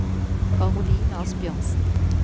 Caroline Asbjørnsen